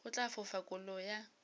go tla fofa kolo ya